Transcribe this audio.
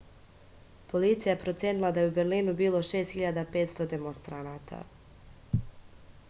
policija je procenila da je u berlinu bilo 6500 demonstranata